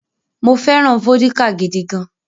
Mo fẹ́ràn vódíkà gidi gan-an.